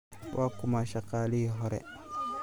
Waa kuma shaqaalihii hore?